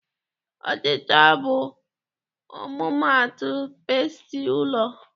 Ọchịcha bụ ọmụmaatụ pestị ụlọ.